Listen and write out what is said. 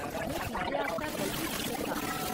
में पिज्जे आस्तै बलगी नेईं सकदा।